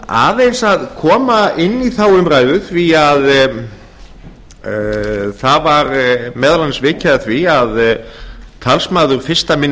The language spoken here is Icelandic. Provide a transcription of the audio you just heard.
aðeins að koma inn í þá umræðu því að það var meðal annars vikið að því að talsmaður fyrsti minni